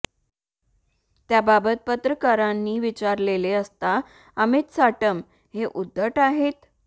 त्याबाबत पत्रकारांनी विचारले असता अमित साटम हे उद्धट आहेत